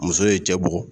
Muso ye cɛ bugɔ